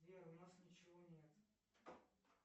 сбер у нас ничего нет